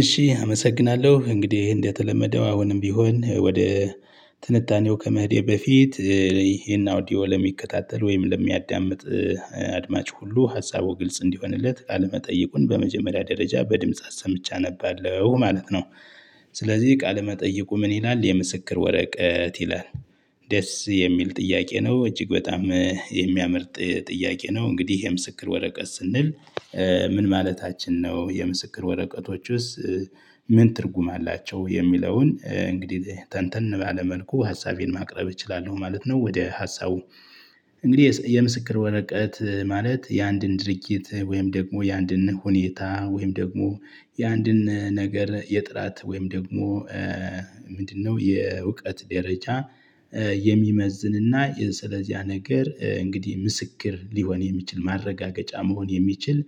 እሺ አመሰግናለሁ። እንግዲህ እንደተለመደው አሁንም ቢሆን ወደ ትንታኔው ከመህዴ በፊት ይሄን አውዲዮ ለሚከታተል ወይም ለሚያዳምጥ አድማጭ ሁሉ ሀሳቡ ግልጽ እንዲሆንለት ቃለመጠየቁን መጠይቁን በመጀመሪያ ደረጃ በድምጻት ሰምቻ አነባለሁ ማለት ነው። ስለዚህ ቃል መጠይቁ ምን ይላል የምስክር ወረቀት ይላል ደስ የሚል ጥያቄ ነው እጅግ በጣም የሚያመርጥ ጥያቄ ነው እንግዲህ ይሄ ምስክር ወረቀት ስንል ምን ማለታችን ነው? የምስክር ወረቀቶች ውስጥ ምን ትርጉም አላቸው የሚለውን እንግዲህ ተንተን ባለ መልኩ ሀሳቤን ማቅረብ እችላለሁ ማለት ነው ወደ ሀሳቡ እንግዲህ የምስክር ወረቀት ማለት የአንድን ድርጊት፤ ወይም ደግሞ የአንድን ሁኔታ፤ ወይም ደግሞ የአንድን ነገር፤ የጥራት ወይም ደግሞ ምንድነው የእውቀት ደረጃ የሚመዝንና ስለዚህ ነገር እንግዲህ ምስክር ሊሆን የሚችል ማረጋገጫ መሆን የሚችል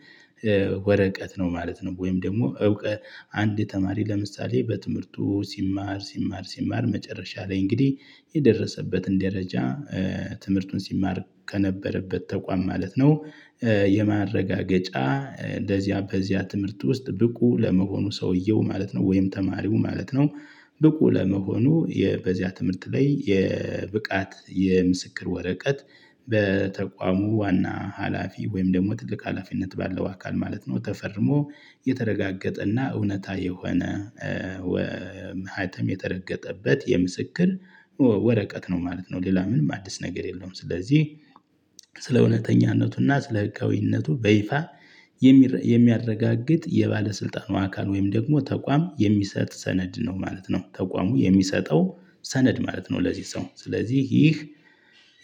ወረቀት ነው ማለት ነው። ወይም ደግሞ እውቀት አንድ ተማሪ ለምሳሌ በትምህርቱ ሲማር ሲማር ሲማር መጨረሻ ላይ እንግዲህ የደረሰበትን ደረጃ ትምህርቱን ሲማር ከነበረበት ተቋም ማለት ነው የማረጋገጫ ለዚያ በዚያ ትምህርት ውስጥ ብቁ ለመሆኑ ሰውየው ማለት ነው ወይም ተማሪው ማለት ነው ብቁ ለመሆኑ በዚያ ትምህርት ላይ የብቃት የምስክር ወረቀት በተቋሙ ዋና ሀላፊ ወይም ደግሞ ትልቅ ሀላፊነት ባለው አካል ማለት ነው ተፈርሞ የተረጋገጠ እና እውነት የሆነ መሃተም የተረገጠበት የምስክር ወረቀት ነው ማለት ነው። ሌላ ምንም አዲስ ነገር የለውም። ስለዚህ ስለ እውነተኛነቱና ስለ ህጋዊነቱ በይፋ የሚያረጋግጥ የባለስልጣኑ አካል ወይም ደግሞ ተቋም የሚሰጥ ሰነድ ነው ማለት ነው። ተቋሙ የሚሰጠው ሰነድ ማለት ነው። ለዚህ ሰው ስለዚህ ይህ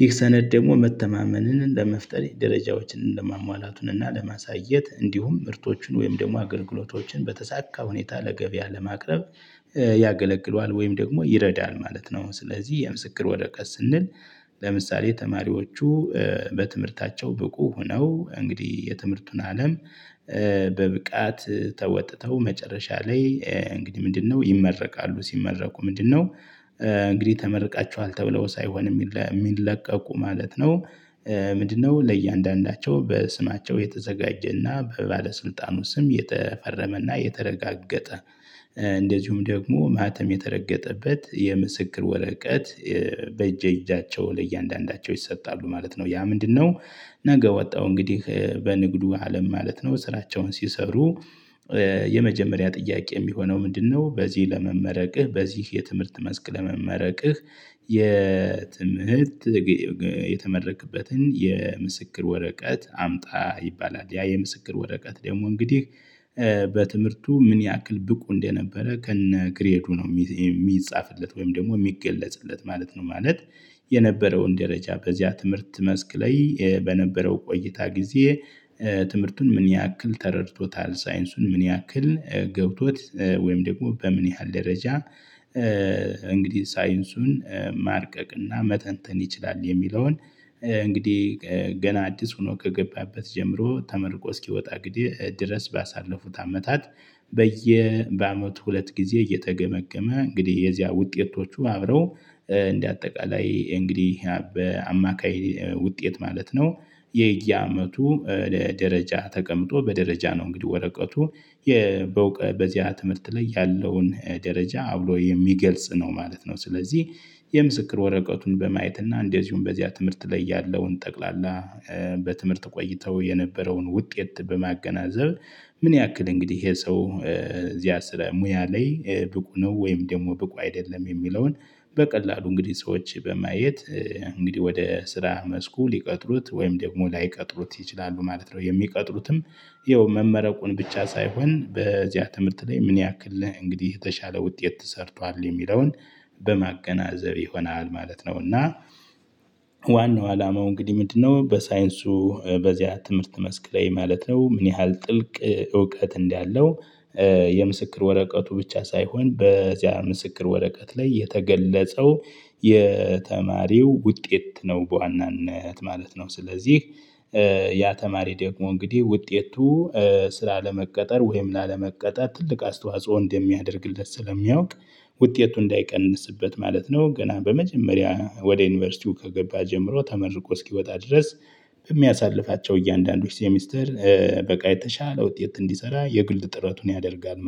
ይህ ሰነድ ደግሞ መተማመንን ለመፍጠር ደረጃዎችን ለማሟላቱን እና ለማሳየት እንዲሁም ምርቶቹን ወይም ደግሞ አገልግሎቶችን በተሳካ ሁኔታ ለገበያ ለማቅረብ ያገለግለዋል ወይም ደግሞ ይረዳል ማለት ነው። ስለዚህ የምስክር ወረቀት ስንል ለምሳሌ ተማሪዎቹ በትምህርታቸው ብቁ ሆነው እንግዲህ የትምህርቱን አለም በብቃት ተወጥተው መጨረሻ ላይ እንግዲህ ምንድነው ይመረቃሉ ሲመረቁ ምንድነው እንግዲህ ተመርቃችኋል ተብለው ሳይሆን የሚለቀቁ ማለት ነው ምንድነው ለእያንዳንዳቸው በስማቸው የተዘጋጀና በባለስልጣኑ ስም የተፈረመና የተረጋገጠ እንደዚሁም ደግሞ ማህተም የተረገጠበት የምስክር ወረቀት በእጄ እጃቸው ለእያንዳንዳቸው ይሰጣሉ ማለት ነው። ያ ምንድነው ነገ ወጣሁ እንግዲህ በንግዱ አለም ማለት ነው ስራቸውን ሲሰሩ የመጀመሪያ ጥያቄ የሚሆነው ምንድነው በዚህ ለመመረቅህ በዚህ የትምህርት መስክ ለመመረቅህ የትምህርት የተመረቅበትን የምስክር ወረቀት አምጣ ይባላል። ያ የምስክር ወረቀት ደግሞ እንግዲህ በትምህርቱ ምን ያክል ብቁ እንደነበረ ከነ ግሬዱ ነው የሚጻፍለት ወይም ደግሞ የሚገለጽለት ማለት ነው። ማለት የነበረውን ደረጃ በዚያ ትምህርት መስክ ላይ በነበረው ቆይታ ጊዜ ትምህርቱን ምን ያክል ተረድቶታል ሳይንሱን ምን ያክል ገብቶት ወይም ደግሞ በምን ያህል ደረጃ እንግዲህ ሳይንሱን ማርቀቅና መተንተን ይችላል የሚለውን እንግዲህ ገና አዲስ ሆኖ ከገባበት ጀምሮ ተመርቆ እስኪወጣ ጊዜ ድረስ ባሳለፉት አመታት በየ በአመቱ ሁለት ጊዜ እየተገመገመ እንግዲህ የዚያ ውጤቶቹ አብረው እንደ አጠቃላይ እንግዲህ በአማካይ ውጤት ማለት ነው የየአመቱ ደረጃ ተቀምጦ በደረጃ ነው እንግዲህ ወረቀቱ በዚያ ትምህርት ላይ ያለውን ደረጃ አብሮ የሚገልጽ ነው ማለት ነው። ስለዚህ የምስክር ወረቀቱን በማየት እና እንደዚሁም በዚያ ትምህርት ላይ ያለውን ጠቅላላ በትምህርት ቆይተው የነበረውን ውጤት በማገናዘብ ምን ያክል እንግዲህ ይሄ ሰው እዚያ ስለ ሙያ ላይ ብቁ ነው ወይም ደግሞ ብቁ አይደለም የሚለውን በቀላሉ እንግዲህ ሰዎች በማየት እንግዲህ ወደ ስራ መስኩ ሊቀጥሩት ወይም ደግሞ ላይቀጥሩት ይችላሉ ማለት ነው። የሚቀጥሉትም ይኸው መመረቁን ብቻ ሳይሆን በዚያ ትምህርት ላይ ምን ያክልህ እንግዲህ የተሻለ ውጤት ተሰርቷል የሚለውን በማገናዘብ ይሆናል ማለት ነው። እና ዋናው አላማው እንግዲህ ምንድነው በሳይንሱ በዚያ ትምህርት መስክ ላይ ማለት ነው ምን ያህል ጥልቅ እውቀት እንዳለው የምስክር ወረቀቱ ብቻ ሳይሆን በዚያ ምስክር ወረቀት ላይ የተገለጸው የተማሪው ውጤት ነው በዋናነት ማለት ነው። ስለዚህ ያ ተማሪ ደግሞ እንግዲህ ውጤቱ ስላለመቀጠር ወይም ላለመቀጠር ትልቅ አስተዋጽኦ እንደሚያደርግለት ስለሚያውቅ ውጤቱ እንዳይቀንስበት ማለት ነው ገና በመጀመሪያ ወደ ዩኒቨርሲቲው ከገባ ጀምሮ ተመርቆ እስኪወጣ ድረስ የሚያሳልፋቸው እያንዳንዱ ሴሚስተር በቃ የተሻለ ውጤት እንዲሰራ የግልጽ ጥረቱን ያደርጋል።